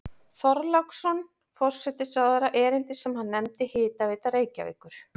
Þorláksson forsætisráðherra erindi sem hann nefndi Hitaveita Reykjavíkur.